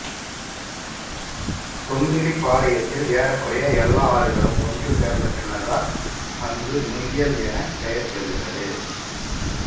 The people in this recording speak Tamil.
தொம்பிலிபாளையத்தில் ஏறக்குறைய எல்லா ஆறுகளும் ஒன்று சேர்ந்த பின்னர்தான் அங்கு நொய்யல் என பெயர் பெறுகிறது